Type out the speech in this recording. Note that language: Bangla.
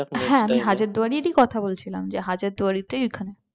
হ্যাঁ আমি হাজারদুয়ারির ই কথা বলছিলাম যে হাজার দুয়ারী তো ওইখানে।